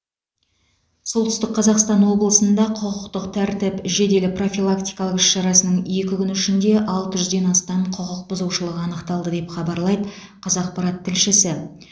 солтүстік қазақстан облысында құқықтық тәртіп жедел профилактикалық іс шарасының екі күні ішінде алты жүзден астам құқық бұзушылық анықталды деп хабарлайды қазақпарат тілшісі